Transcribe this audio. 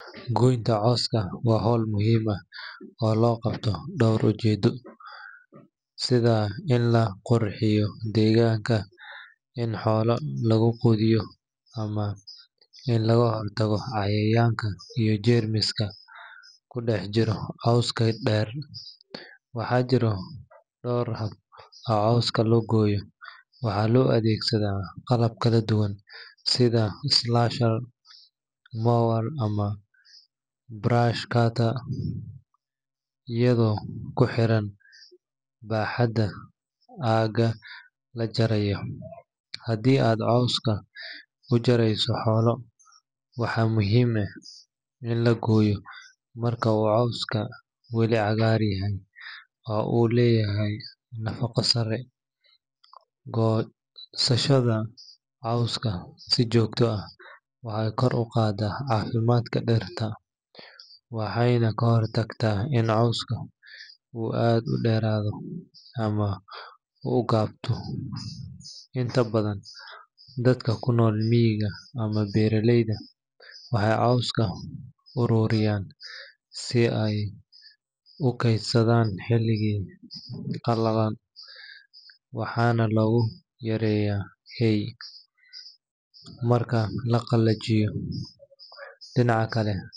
Goynta cawska waa hawl muhiim ah oo loo qabto dhowr ujeedo, sida in la qurxiyo deegaanka, in xoolo lagu quudiyo, ama in laga hortago cayayaanka iyo jeermiska ku dhex jira cawska dheer. Waxaa jira dhowr hab oo cawska loo gooyo, waxaana loo adeegsadaa qalab kala duwan sida slasher, mower, ama brush cutter, iyadoo ku xiran baaxadda aagga la jarayo. Haddii aad cawska u jarayso xoolo, waxaa muhiim ah in la gooyo marka uu cawska weli cagaar yahay oo uu leeyahay nafaqo sare. Goosashada cawska si joogto ah waxay kor u qaadaa caafimaadka dhirta, waxayna ka hortagtaa in cawska uu aad u dheeraado ama u gubto. Inta badan, dadka ku nool miyiga ama beeraleyda waxay cawska u ururiyaan si ay u keydsadaan xilliyada qalalan, waxaana loogu yeeraa hay marka la qalajiyo. Dhinaca kale.